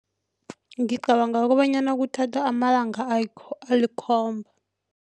Ngicabanga kobanyana kuthatha amalanga alikhomba.